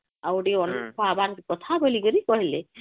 ହଁ .ଆଉ ଟିକେ ଅନ୍ନ ବାର କଥା ବୋଲିକିରି କହିଲେ